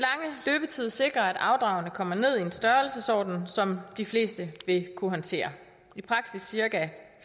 løbetid sikrer at afdragene kommer ned i en størrelsesorden som de fleste vil kunne håndtere i praksis cirka